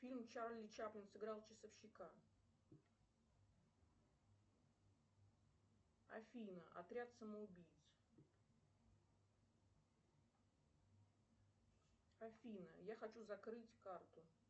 фильм чарли чаплин сыграл часовщика афина отряд самоубийц афина я хочу закрыть карту